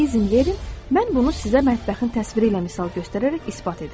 İzin verin, mən bunu sizə mətbəxin təsviri ilə misal göstərərək isbat edim.